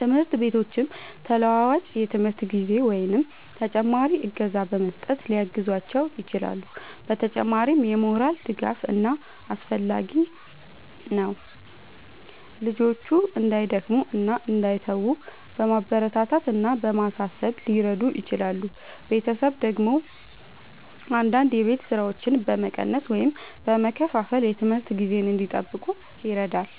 ትምህርት ቤቶችም ተለዋዋጭ የትምህርት ጊዜ ወይም ተጨማሪ እገዛ በመስጠት ሊያግዟቸው ይችላሉ። በተጨማሪም የሞራል ድጋፍ በጣም አስፈላጊ ነው፤ ልጆቹ እንዳይደክሙ እና እንዳይተዉ በማበረታታት እና በማሳሰብ ሊረዱ ይችላሉ። ቤተሰብ ደግሞ አንዳንድ የቤት ሥራዎችን በመቀነስ ወይም በመከፋፈል የትምህርት ጊዜ እንዲጠብቁ ይረዳል።